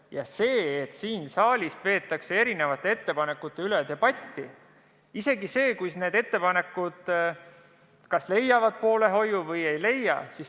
Ja see, et siin saalis peetakse erinevate ettepanekute üle debatti, on üks osa meie tööst, leiavad need ettepanekud siis poolehoidu või ei leia.